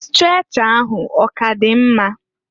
Strecha ahụ ọ k'adị mma?